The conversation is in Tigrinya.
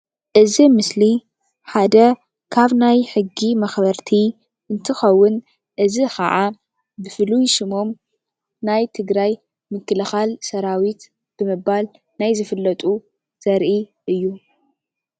እዚ ምስሊ ሓደ ካብ ናይ ሕጊ መኽበርቲ ሓደ እንትኽውን እዚ ክዓ ብፍሉይ ስሙ ናይ ትግራይ ምክልካል ሰራዊት ብምባል ናይ ዝፍለጡ ዘርኢ እዩ፡፡